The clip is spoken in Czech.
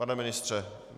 Pane ministře?